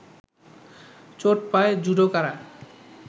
চোট পায় জুডোকারা